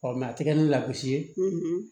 a ti kɛ ni lakusi ye